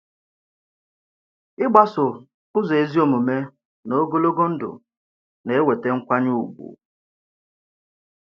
Ị̀gbàsò ụzọ ezi omume n’ogologo ndụ na-èweta nkwànyè ùgwù.